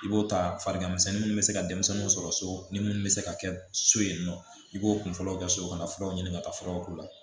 I b'o ta fariganmisɛnnin minnu bɛ se ka denmisɛnninw sɔrɔ so ni mun bɛ se ka kɛ so yen nɔ i b'o kunkolo kɛ so kɔnɔ ka taa furaw k'u la